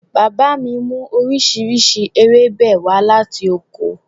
Bàbá mi mú oríṣiríṣi ewébẹ̀ wá láti oko